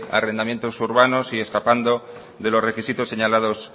arrendamientos urbanos y escapando de los requisitos señalados